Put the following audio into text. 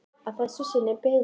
Að þessu sinni byggði hann þau.